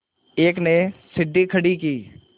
एक ने सीढ़ी खड़ी की